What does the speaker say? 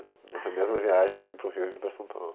Nessa mesma viagem eu vim para o Rio e vim para São Paulo.